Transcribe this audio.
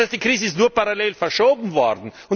Das heißt, die Krise ist nur parallel verschoben worden.